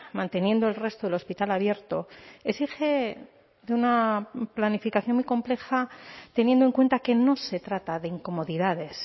manteniendo el resto del hospital abierto exige de una planificación muy compleja teniendo en cuenta que no se trata de incomodidades